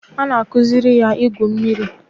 A na-akụziri ya igwu mmiri